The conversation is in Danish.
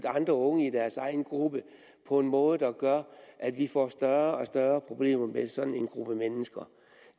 andre unge i deres egen gruppe på en måde der gør at vi får større og større problemer med sådan en gruppe mennesker